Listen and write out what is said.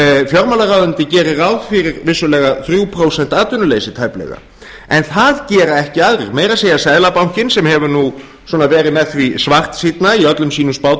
fjármálaráðuneytið gerir ráð fyrir vissulega þrjú prósent atvinnuleysi tæplega en það gera ekki aðrir meira að segja seðlabankinn sem hefur svona verið með því svartsýnn i öllum sínum